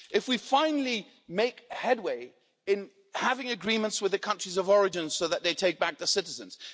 if we finally make headway in having agreements with the countries of origin so that they take back the citizens